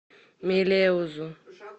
мелеузу